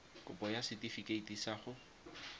kopo ya setifikeite sa go